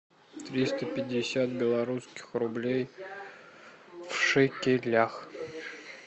триста пятьдесят белорусских рублей в шекелях